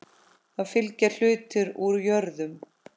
Þá fylgja hlutir úr jörðum.